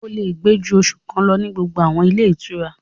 O lè gbé ju oṣù kan lọ ní gbogbo àwọn ilé ìtura